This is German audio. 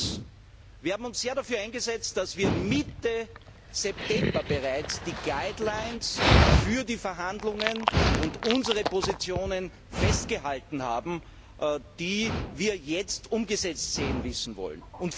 Drittens Wir haben uns sehr dafür eingesetzt, dass Mitte September bereits die Richtlinien für die Verhandlungen und unsere Positionen festgehalten wurden, die wir jetzt umgesetzt sehen wissen wollen.